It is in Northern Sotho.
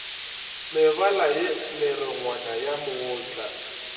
mebala ye merongwana ya mootlwa